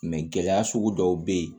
gɛlɛya sugu dɔw be yen